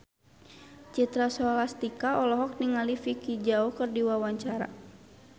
Citra Scholastika olohok ningali Vicki Zao keur diwawancara